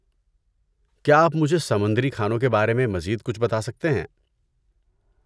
کیا آپ مجھے سمندری کھانوں کے بارے میں مزید کچھ بتا سکتے ہیں؟